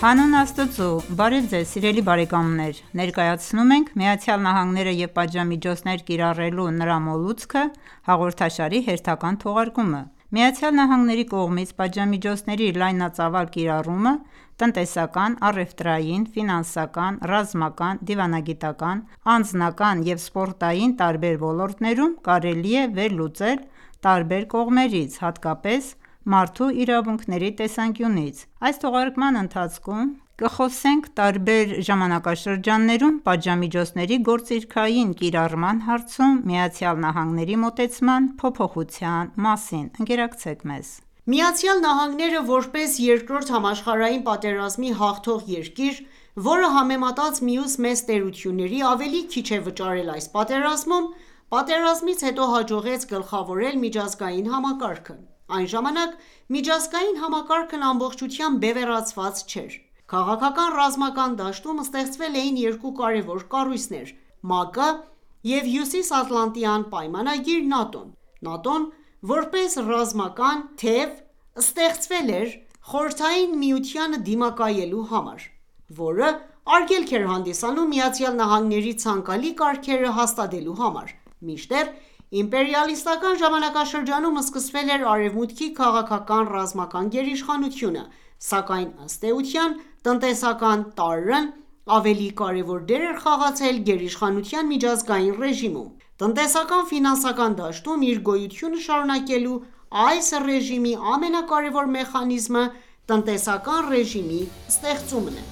Հանուն Աստծու, բարև ձեզ սիրելի բարեկամներ:Ներկայացնում ենք ,«ԱՄՆ-ն և պատժամիջոցներ կիրառելու նրա մոլուցքը» հաղորդաշարի հերթական թողարկումը: ԱՄՆ-ի կողմից պատժամիջոցների լայնածավալ կիրառումը տնտեսական, առևտրային, ֆինանսական, ռազմական, դիվանագիտական, անձնական և սպորտային տարբեր ոլորտներում կարելի է վերլուծել տարբեր կողմերից, հատկապես մարդու իրավունքների տեսանկյունից: Այս թողարկման ընթացքում կխոսենք տարբեր ժամանակաշրջաններում պատժամիջոցների գործիքային կիրառման հարցում ԱՄՆ-ի մոտեցման փոփոխության մասին։ Ընկերակցեք մեզ: ԱՄՆ-ն, որպես Երկրորդ համաշխարհային պատերազմի հաղթող երկիր, որը, համեմատած մյուս մեծ տերությունների, ավելի քիչ է վճարել այս պատերազմում, պատերազմից հետո հաջողեց գլխավորել միջազգային համակարգը։ Այն ժամանակ միջազգային համակարգն ամբողջությամբ բևեռացված չէր։ Քաղաքական-ռազմական դաշտում ստեղծվել էին երկու կարևոր կառույցներ՝ ՄԱԿ-ը և Հյուսիսատլանտյան պայմանագիր ՆԱՏՕ-ն: ՆԱՏՕ-ն, որպես ռազմական թեւ, ստեղծվել էր Խորհրդային Միությանը դիմակայելու համար, որը արգելք էր հանդիսանում ԱՄՆ-ի ցանկալի կարգերը հաստատվելու համար ։Մինչդեռ իմպերիալիստական ժամանակաշրջանում սկսվել էր Արևմուտքի քաղաքական-ռազմական գերիշխանությունը, սակայն, ըստ էության, տնտեսական տարրն ավելի կարևոր դեր էր խաղացել գերիշխանության միջազգային ռեժիմում։ Տնտեսական-ֆինանսական դաշտում իր գոյությունը շարունակելու այս ռեժիմի ամենակարեւոր մեխանիզմը՝ տնտեսական ռեժիմի ստեղծումն է։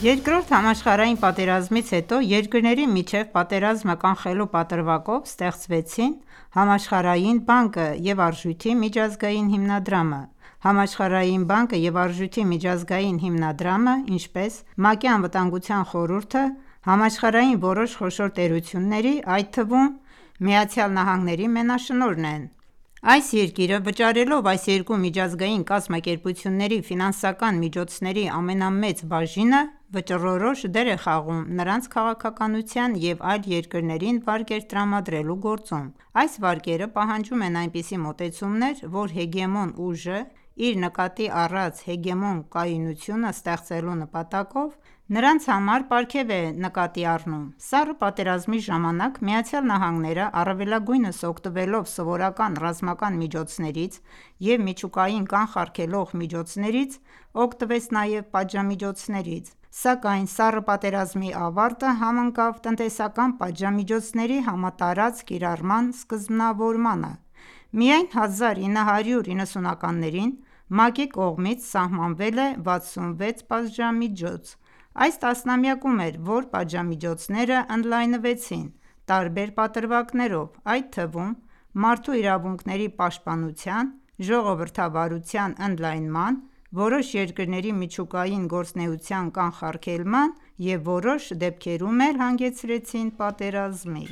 Երկրորդ համաշխարհային պատերազմից հետո երկրների միջև պատերազմը կանխելու պատրվակով ստեղծվեցին Համաշխարհային բանկը և Արժույթի միջազգային հիմնադրամը։ Համաշխարհային բանկը և Արժույթի միջազգային հիմնադրամը, ինչպես ՄԱԿ-ի Անվտանգության խորհուրդը, համաշխարհային որոշ խոշոր տերությունների, այդ թվում՝ ԱՄՆ-ի մենաշնորհն են: Այս երկիրը վճարելով այս երկու միջազգային կազմակերպությունների ֆինանսական միջոցների ամենամեծ բաժինը, վճռորոշ դեր է խաղում նրանց քաղաքականության և այլ երկրներին վարկեր տրամադրելու գործում։ Այս վարկերը պահանջում են այնպիսի մոտեցումներ, որ հեգեմոն ուժը իր նկատի առած հեգեմոն կայունությունը ստեղծելու նպատակով, նրանց համար պարգև է նկատի առնում: Սառը պատերազմի ժամանակ ԱՄՆ-ն, առավելագույնս օգտվելով սովորական ռազմական միջոցներից և միջուկային կանխարգելող միջոցներից, օգտվեց նաև պատժամիջոցներից։ Սակայն Սառը պատերազմի ավարտը համընկավ տնտեսական պատժամիջոցների համատարած կիրառման սկզբնավորմանը: Միայն 1990-ականներին ՄԱԿ-ի կողմից սահմանվել է 66 պատժամիջոց: Այս տասնամյակում էր, որ պատժամիջոցներն ընդլայնվեցին տարբեր պատրվակներով, այդ թվում՝ մարդու իրավունքների պաշտպանության, ժողովրդավարության ընդլայնման, որոշ երկրների միջուկային գործունեության կանխարգելման և որոշ դեպքերում էլ հանգեցրին պատերազմի։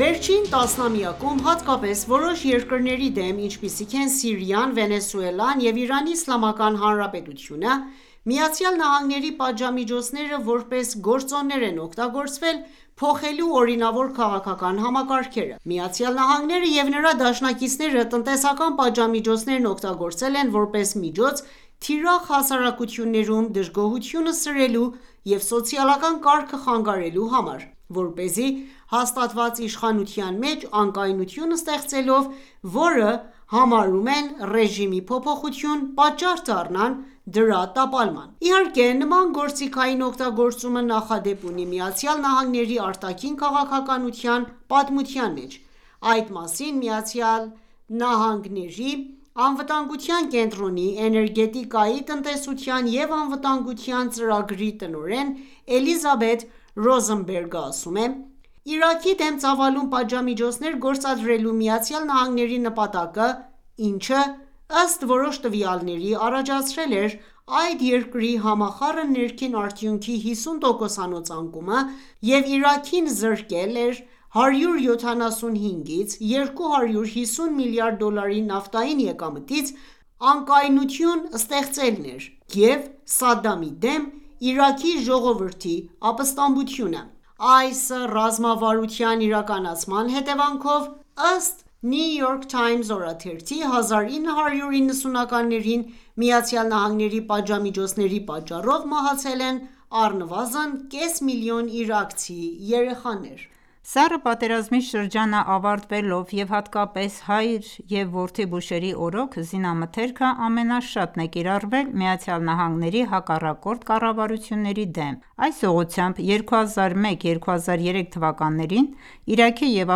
Վերջին տասնամյակում, հատկապես որոշ երկրների դեմ, ինչպիսիք են՝ Սիրիան, Վենեսուելան և Իրանի Իսլամական Հանրապետությունը, ԱՄՆ-ի պատժամիջոցները ,որպես գործոններ են օգտագործվել փոխելու օրինավոր քաղաքական համակարգերը: ԱՄՆ-ն և նրա դաշնակիցները տնտեսական պատժամիջոցներն օգտագործել են որպես միջոց, թիրախ հասարակություններում դժգոհությունը սրելու և սոցիալական կարգը խանգարելու համար, որպեսզի հաստատված իշխանության մեջ անկայունություն ստեղծելով ,որը համարում են «ռեժիմի փոփոխություն»,պատճառ դառնան դրա տապալման: Իհարկե, նման գործիքային օգտագործումը նախադեպ ունի ԱՄՆ-ի արտաքին քաղաքականության պատմության մեջ, այդ մասին ԱՄՆ-ի անվտանգության կենտրոնի էներգետիկայի, տնտեսության և անվտանգության ծրագրի տնօրեն Էլիզաբեթ Ռոզենբերգը ասում է.«Իրաքի դեմ ծավալուն պատժամիջոցներ գործադրելու ԱՄՆ-ի նպատակը՝ինչը, ըստ որոշ տվյալների, առաջացրել էր այդ երկրի համախառն ներքին արդյունքի 50 տոկոսանոց անկումը, և Իրաքին զրկել էր՝175-ից 250 միլիարդ դոլարի նավթային եկամտից, անկայունություն ստեղծելն էր և Սադդամի դեմ Իրաքի ժողովրդի ապստամբությունը»։Այս ռազմավարության իրականացման հետևանքով, ըստ New York Times օրաթերթի, 1990-ականներին ԱՄՆ-ի պատժամիջոցների պատճառով մահացել են առնվազն կես միլիոն իրաքցի երեխաներ: Սառը պատերազմի շրջանը ավարտվելով, և հատկապես հայր և որդի Բուշերի օրոք, զինամթերքը ամենաշատն է կիրառվել ԱՄՆ-ի հակառակորդ կառավարությունների դեմ։ Այս ուղղությամբ ՝2001 և 2003 թվականներին Իրաքի և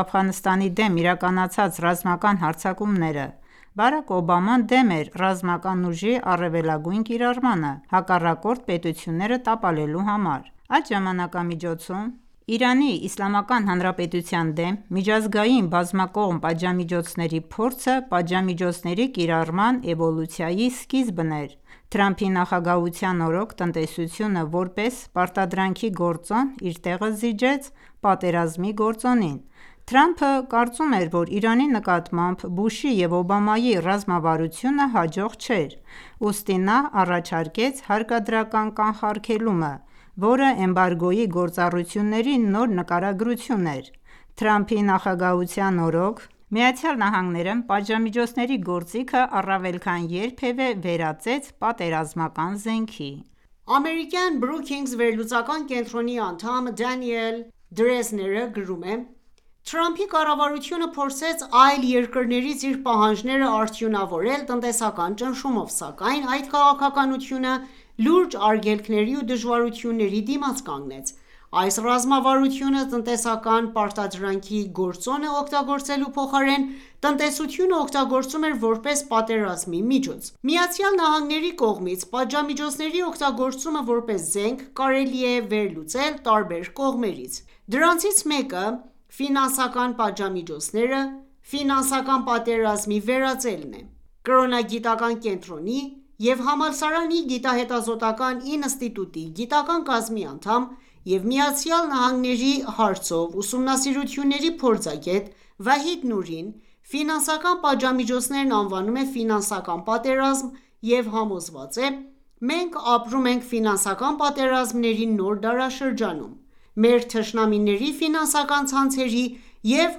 Աֆղանստանի դեմ իրականացան ռազմական հարձակումները։ Բարաք Օբաման դեմ էր ռազմական ուժի առավելագույն կիրառմանը՝ հակառակորդ պետությունները տապալելու համար։ Այդ ժամանակամիջոցում Իրանի Իսլամական Հանրապետության դեմ միջազգային բազմակողմ պատժամիջոցների փորձը պատժամիջոցների կիրառման էվոլյուցիայի սկիզբն էր։ Թրամփի նախագահության օրոք տնտեսությունը ,որպես «պարտադրանքի գործոն» իր տեղը զիջեց «պատերազմի գործոնին»։ Թրամփը կարծում էր, որ Իրանի նկատմամբ Բուշի և Օբամայի ռազմավարությունը հաջող չէր, ուստի նա առաջարկեց «հարկադրական կանխարգելումը», որը էմբարգոյի գործառույթների նոր նկարագրություն էր։ Թրամփի նախագահության օրոք ԱՄՆ-ն պատժամիջոցների գործիքը առավել քան երբևէ վերածեց պատերազմական զենքի: Ամերիկյան Brookings վերլուծական կենտրոնի անդամ Դենիել Դրեզները գրում է. «Թրամփի կառավարությունը փորձեց այլ երկրներից իր պահանջները արդյունավորել տնտեսական ճնշումով ,սակայն այդ քաղաքականությունը լուրջ արգելքների ու դժվարությունների դիմաց կանգնեց: Այս ռազմավարությունը ,տնտեսական պարտադրանքի գործոնը օգտագործելու փոխարեն, տնտեսությունը օգտագործում էր ,որպես պատերազմի միջոց»։ ԱՄՆ-ի կողմից պատժամիջոցների օգտագործումը ,որպես զենք ,կարելի է վերլուծել տարբեր կողմերից։ Դրանցից մեկը ֆինանսական պատժամիջոցները, ֆինանսական պատերազմի վերածելն է: Կրոնագիտական կենտրոնի և համալսարանի գիտահետազոտական ինստիտուտի գիտական կազմի անդամ, և ԱՄՆ-ի հարցով ումնասիրությունների փորձագետ Վահիդ Նուրին ֆինանսական պատժամիջոցներն անվանում է «ֆինանսական պատերազմ» և համոզված է.« Մենք ապրում ենք ֆինանսական պատերազմների նոր դարաշրջանում: Մեր թշնամիների ֆինանսական ցանցերի և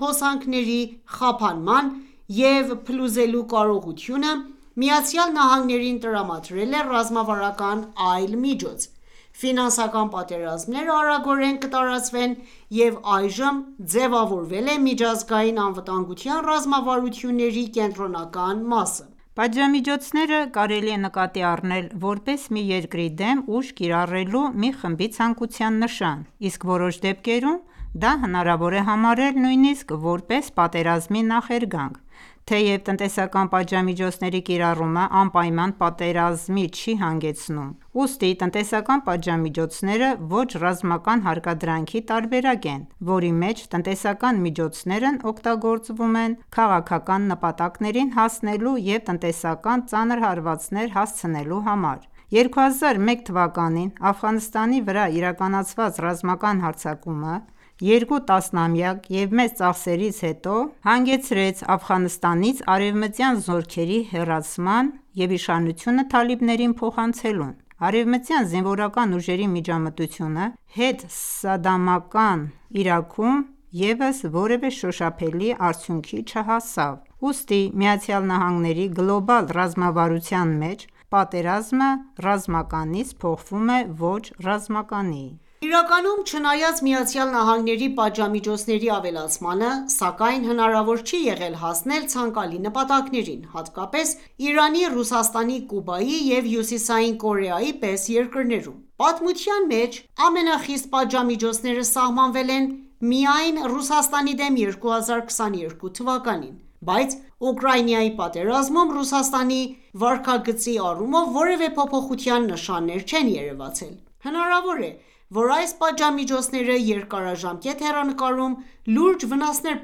հոսանքների խափանման և խզելու կարողությունը ,Միացյալ Նահանգներին տրամադրել է ռազմավարական այլ միջոց:Ֆինանսական պատերազմները արագորեն կտարածվեն և այժմ ձևավորել է միջազգային անվտանգության ռազմավարությունների կենտրոնական մասը»: Պատժամիջոցները կարելի է նկատի առնել, որպես մի երկրի դեմ ուժ կիրառելու մի խմբի ցանկության նշան, իսկ որոշ դեպքերում դա հնարվոր է համարել նույնիսկ, որպես պատերազմի նախերգանք: Թեեւ տնտեսական պատժամիջոցների կիրառումը անպայման պատերազմի չի հանգեցնում։ Ուստի, տնտեսական պատժամիջոցները, ոչ ռազմական հարկադրանքի տարբերակ են, ,որի մեջ տնտեսական միջոցներն օգտագործվում են քաղաքական նպատակներին հասնելու և տնտեսական ծանր հարվածներ հասցնելու համար։2001 թվականին Աֆղանստանի վրա իրականացված ռազմական հարձակումը երկու տասնամյակ և մեծ ծախսերից հետո հանգեցրեց Աֆղանստանից արևմտյան զորքերի հեռացման և իշխանությունը թալիբներին փոխանցելուն։ Արևմտյան զինվորական ուժերի միջամտությունը հետսադամական Իրաքում ևս որևէ շոշափելի արդյունքի չհասավ։ Ուստի ԱՄՆ-ի գլոբալ ռազմավարության մեջ պատերազմը ռազմականից փոխվում է ոչ ռազմականի: Իրականում, չնայած ԱՄՆ-ի պատժամիջոցների ավելացմանը, սակայն հնարավոր չի եղել հասնել ցանկալի նպատակներին, հատկապես՝ Իրանի, Ռուսաստանի, Կուբայի, և Հյուսիսային Կորեայի պես երկրներում: Պատմության մեջ ամենխիստ պատժամիջոցները սահմանվել են, միայն Ռուսաստանի դեմ 2022 թվականին ։ Բայց Ուկրայինայի պատերազմում Ռուսաստանի վարքագծի առումով որևէ փոփոխության նշաններ չեն երևացել: Հնարավոր է ,որ այս պատժամիջոցները երկարաժամկետ հեռանկարում լուրջ վնասներ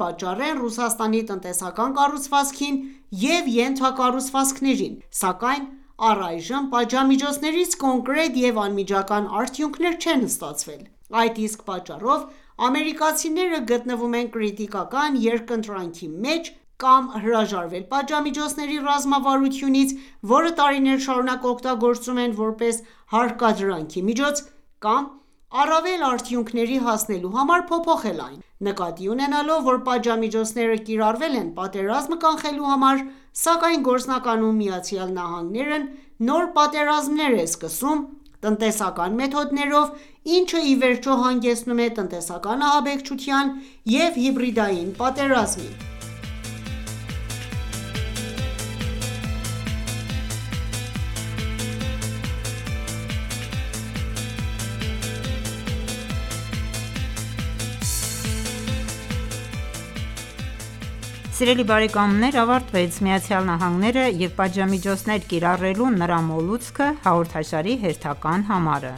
պատճառեն Ռուսաստանի տնտեսական կառուցվածքին և ենթակառուցվածքներին, սակայն առայժմ պատժամիջոցներից կոնկրետ և անմիջական արդյունքներ չեն ստացվել։ Այդ իսկ պատճառով ամերիկացիները գտնվում են կրիտիկական երկընտրանքի մեջ՝ կամ հրաժարվել պատժամիջոցների ռազմավարությունից, որը տարիներ շարունակ օգտագործում են, որպես հարկադրանքի միջոց, կամ առավել արդյունքների հասնելու համար, փոփոխել այն: Նկատի ունենալով, որ պատժամիջոցները կիրառվել են պատերազմը կանխելու համար, սակայն գործնականում ԱՄՆ-ն նոր պատերազմներ է սկսում տնտեսական մեթոդներով, ինչը, ի վերջո, հանգեցնում է տնտեսական ահաբեկչության և հիբրիդային պատերազմի։ Սիրելի բարեկամներ ,ավարտեց «ԱՄՆ-ն և պատժամիջոցներ կիրառելու նրա մոլուցքը» հաղորդաշարի հերթական համարը: